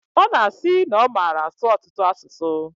Ọ na-asi na ọ mara asụ ọtụtụ asụsụ.